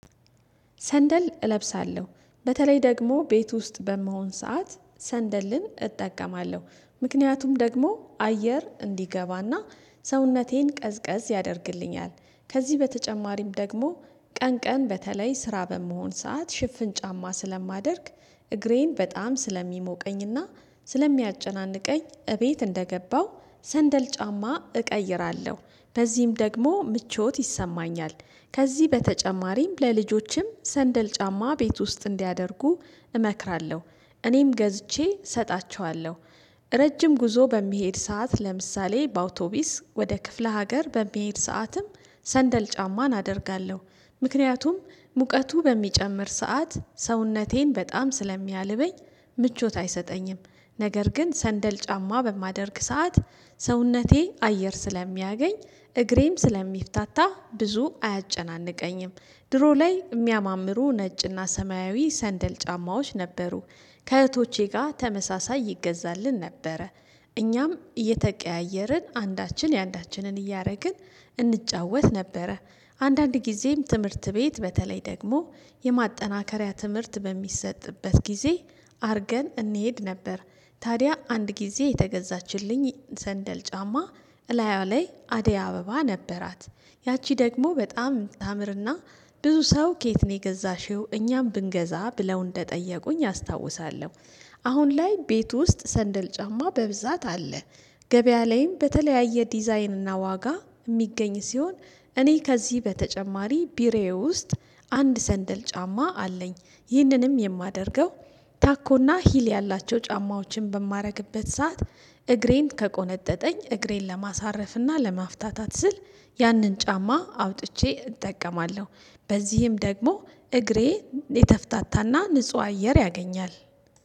ሰንደል እለብሳለሁ። በተለይ ደግሞ ቤት ውስጥ በመሆን ሰዓት ሰንደልን እጠቀማለሁ። ምክንያቱም ደግሞ አየር እንዲገባና ሰውነቴን ቀዝቀዝ ያደርግልኛል። ከዚህ በተጨማሪም ደግሞ ቀን ቀን በተለይ ስራ በመሆን ሰዓት ሽፍን ጫማ ስለማደርግ እግሬን በጣም ስለሚሞቀኝና ስለሚያጨናንቀኝ እቤት እንደገባው ሰንደል ጫማ እቀይራለሁ። በዚህም ደግሞ ምቾት ይሰማኛል። ከዚህ በተጨማሪም ለልጆችም ሰንደል ጫማ ቤት ውስጥ እንዲያደርጉ እመክራለሁ። እኔም ገዝቼ እሰጣቸዋለሁ። ረጅም ጉዞ በሚሄድ ሰዓት፤ ለምሳሌ በአውቶቢስ ወደ ክፍለ ሀገር በሚሄድ ሰዓትም ሰንደል ጫማ አደርጋለሁ። ምክንያቱም ሙቀቱ በሚጨምር ሰዓት ሰውነቴን በጣም ስለሚያልበኝ ምቾት አይሰጠኝም። ነገር ግን ሰንደል ጫማ በማደርግ ሰዓት ሰውነቴ አየር ስለሚያገኝ እግሬም ስለሚፈታታ ብዙ አያጨናንቀኝም። ድሮ ላይ የሚያማምሩ ነጭና ሰማያዊ ሰንደል ጫማዎች ነበሩ። ከእህቶቼ ጋር ተመሳሳይ ይገዛልን ነበረ። እኛም እየተቀያየርን አንዳችን የአንዳችንን እያደረግን እንጫወት ነበረ። አንዳንድ ጊዜም ትምህርት ቤት በተለይ ደግሞ የማጠናከሪያ ትምህርት በሚሰጥበት ጊዜ አርገን እንሄድ ነበር። ታዲያ አንድ ጊዜ የተገዛችልኝ ዘንደል ጫማ እላያዋ ላይ አደያ አበባ ነበራት። ያቺ ደግሞ በጣም ታምርና ብዙ ሰው ከየት ነው የገዛሽው? እኛም ብንገዛ ብለው እንደጠየቁኝ አስታውሳለሁ። አሁን ላይ ቤት ውስጥ ሰንደል ጫማ በብዛት አለ። ገበያ ላይም በተለያየ ዲዛይንና ዋጋ የሚገኝ ሲሆን እኔ ከዚህ በተጨማሪ ቢሮዬ ውስጥ አንድ ሰንደል ጫማ አለኝ። ይህንንም የማደርገው ታኮና ሂል ያላቸው ጫማዎችን በማደርግበት ሰዓት እግሬን ከቆነጠጠኝ እግሬን ለማሳረፍና ለማፍታታት ስል ያንን ጫማ አውጥቼ እጠቀማለሁ። በዚህም ደግሞ እግሬ የተፈታታና ንጹህ አየር ያገኛል።